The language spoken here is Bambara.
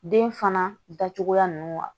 Den fana da cogoya nunnu wa